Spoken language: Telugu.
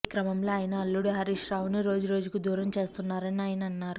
ఈ క్రమంలో ఆయన అల్లుడు హరీష్రావును రోజురోజుకూ దూరం చేస్తున్నారని ఆయన అన్నారు